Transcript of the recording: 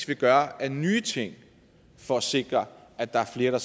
vil gøre af nye ting for at sikre at der er flere